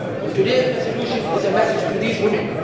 Today's resolution is a message to these women.